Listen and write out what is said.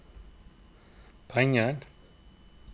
penger